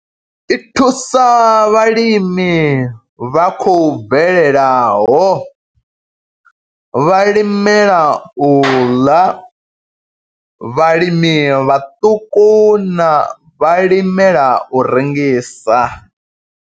I thusa vhalimi vha khou bvelelaho, vhalimela u ḽa, vhalimi vhaṱuku na vhalimela u rengisa.